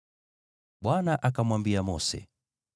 Bwana akamwambia Mose,